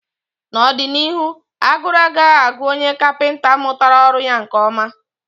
n'ọdịnihu, agụrụ agaghị agụ onye kapịnta mụtara ọrụ ya nke ọma.